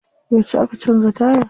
Yauce aka canza taya?